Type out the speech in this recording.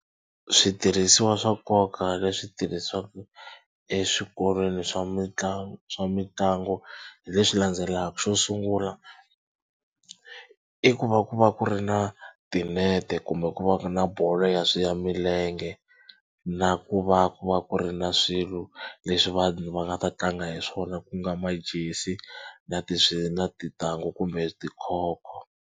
Switirhisiwa swa nkoka leswi tirhisiwaka eswikolweni swa mitlangu swa mitlangu hi leswi landzelaka xo sungula i ku va ku va ku ri na tinete kumbe ku va na ku ri bolo ya swi ya milenge na ku va ku va ku ri na swilo leswi vanhu va nga ta tlanga hi swona ku nga majesi na ti swi na tintangu kumbe tikhokho.